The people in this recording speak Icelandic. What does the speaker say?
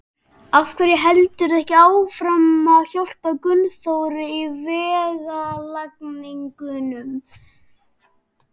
Af hverju heldurðu ekki áfram að hjálpa Gunnþóri í vegalagningunni?